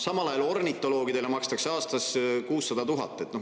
Samal ajal makstakse ornitoloogidele aastas 600 000.